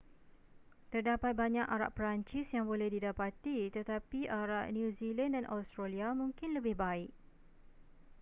terdapat banyak arak perancis yang boleh didapati tetapi arak new zealand dan australia mungkin lebih baik